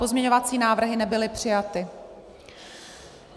Pozměňovací návrhy nebyly přijaty.